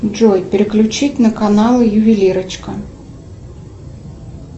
джой переключить на канал ювелирочка